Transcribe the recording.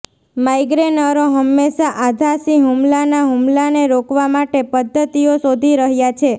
માઇગ્રેનરો હંમેશા આધાશી હુમલાના હુમલાને રોકવા માટે પદ્ધતિઓ શોધી રહ્યાં છે